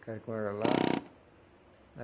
Ficaram com ela lá.